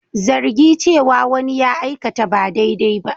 Zargi cewa wani ya aikata ba daidai ba.